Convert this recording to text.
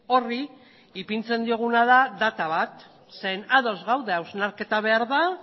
horri ipintzen dioguna da data bat zeren ados gaude hausnarketa behar da